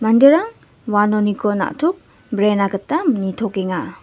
manderang uanoniko na·tok brena gita niktokenga.